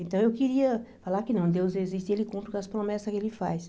Então, eu queria falar que não, Deus existe e Ele cumpre com as promessas que Ele faz.